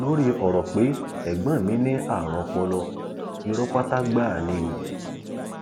lórí ọrọ pé ẹgbọn mi ní àrùn ọpọlọ irọ pátá gbáà ni o